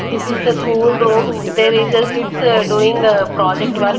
This is the school room there is a kids doing project work.